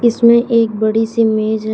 इसमें एक बड़ी सी मेज है।